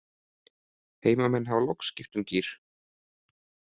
Heimamenn hafa loks skipt um gír.